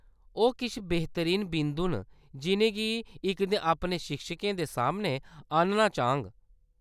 ओह्‌‌ किश बेह्‌तरीन बिंदु न जिʼनेंगी में इक दिन अपने शिक्षकें दे सामनै आह्‌‌‌नना चाह्‌ङ।